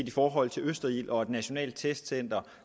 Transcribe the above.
i forhold til østerild og et nationalt testcenter